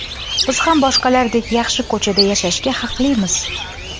Biz ham boshqalardek, yaxshi ko‘chada yashashga haqlimiz.